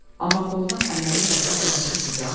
Amma qoldan əməlli-başlı qüvvətlisiz, ha?